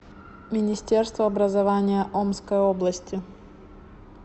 министерство образования омской области